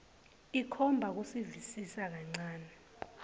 ikhomba kusivisisa kancane